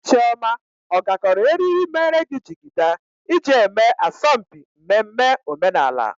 Chioma ọ gakọrọ eriri mere gị jigida iji eme asọmpi mmemme omenala?